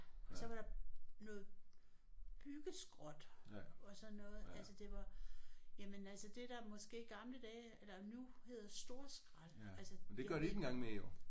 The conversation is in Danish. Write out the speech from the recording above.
Og så var der noget byggeskrot og sådan noget altså det var jamen altså det der måske i gamle dage eller nu hedder storskrald altså